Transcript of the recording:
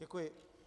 Děkuji.